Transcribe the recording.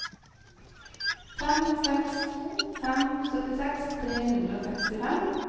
fem seks to fem syttiseks tre hundre og sekstifem